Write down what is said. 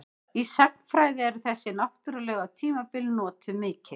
Í sagnfræði eru þessi náttúrlegu tímabil notuð mikið.